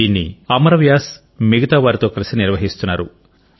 దీన్ని అమర్ వ్యాస్ మిగతావారితో కలిసి నిర్వహిస్తున్నారు